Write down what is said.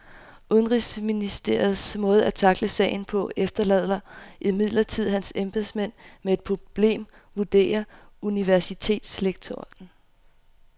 Udenrigsministerens måde at tackle sagen på efterlader imidlertid hans embedsmænd med et problem, vurderer universitetslektoren.